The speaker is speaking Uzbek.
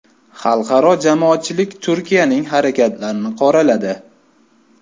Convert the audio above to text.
Xalqaro jamoatchilik Turkiyaning harakatlarini qoraladi.